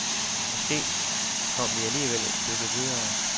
Måske kom vi alligevel et stykke videre.